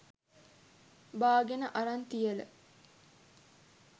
බාගෙන අරන් තියල